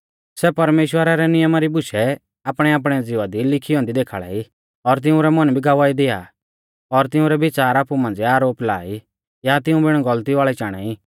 सै परमेश्‍वरा रै नियमा री बुशै आपणैआपणै ज़िवा दी लिखी औन्दी देखाल़ाई और तिउंरै मन भी गवाही दिआ और तिउंरै बिच़ार आपु मांझ़िऐ आरोप ला ई या तिऊं बिण गौलती वाल़ै चाणा ई